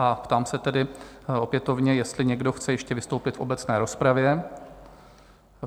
A ptám se tedy opětovně, jestli někdo chce ještě vystoupit v obecné rozpravě?